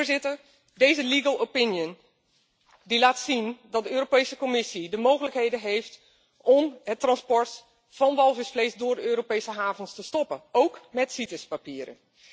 Voorzitter, deze legal opinion laat zien dat de Europese Commissie de mogelijkheden heeft om het transport van walvisvlees via de Europese havens te stoppen, óók met Cites papieren.